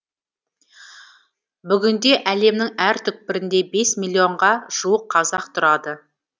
бүгінде әлемнің әр түкпірінде бес миллионға жуық қазақ тұрады